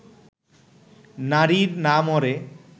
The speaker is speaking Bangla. নারীর না মরে